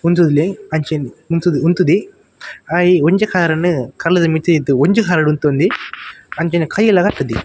ಒಂತೊಂದೆ ಅಂಚನೆ ಉಂತು ಉಂತುದೆ ಆಯೆ ಒಂಜಿ ಕಾರ್ ನು ಕಲ್ಲುದ ಮಿತ್ತ್ ದೀತೆ ಒಂಜಿ ಕಾರುಡು ಉಂತೊಂದೆ ಆಂಚನೆ ಕೈ ಲ ಕಟ್ಟುದೆ.